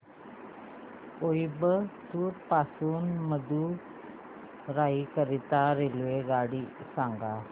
कोइंबतूर पासून मदुराई करीता रेल्वेगाडी सांगा